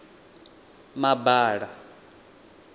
mabala